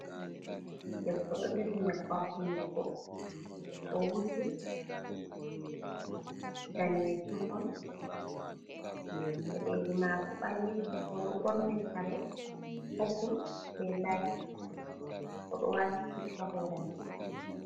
Ɗebbo ɗo jogi nyebbam hunɗuko. Owuji danejum on. Peɗeli mako balejum. Oɗo borni kare popul be lait. Oɗo wati bit ha horemako.